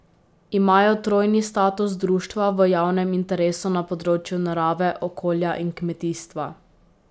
Imajo trojni status društva v javnem interesu na področju narave, okolja in kmetijstva.